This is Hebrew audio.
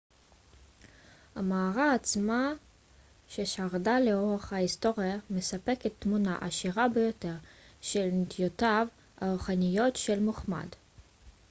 המערה עצמה ששרדה לאורך ההיסטוריה מספקת תמונה עשירה ביותר של נטיותיו הרוחניות של מוחמד